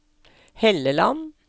Helleland